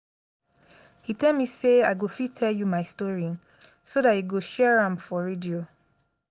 he tell me say i go fit tell you my story so dat you go share am for radio